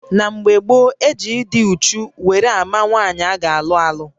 Na mgbè gboo, e ji ịdị úchú wéré àmà nwaanyị ágá alụ-alụ